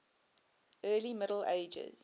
early middle ages